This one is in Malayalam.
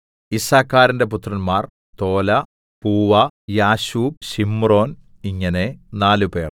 യിസ്സാഖാരിന്റെ പുത്രന്മാർ തോലാ പൂവാ യാശൂബ് ശിമ്രോൻ ഇങ്ങനെ നാലുപേർ